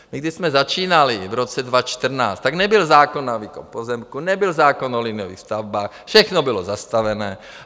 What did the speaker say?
My, když jsme začínali v roce 2014, tak nebyl zákon na výkup pozemků, nebyl zákon o liniových stavbách, všechno bylo zastavené.